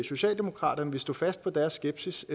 socialdemokratiet vil stå fast på deres skepsis